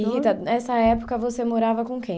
E, Rita, nessa época, você morava com quem?